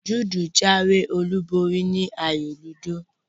Jude jáwé olúborí ni ayò ludo